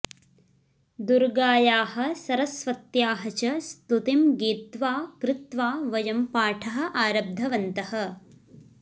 दुर्गायाः सरस्वत्याः च स्तुतिं गीत्वा कृत्वा वयं पाठः आरब्धवन्तः